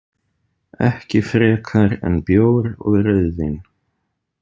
Ekki frekar en bjór og rauðvín.